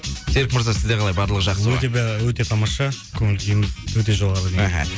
серік мырза сізде қалай барлығы жақсы ма өте өте тамаша көңіл күйім өте жоғары деңгейде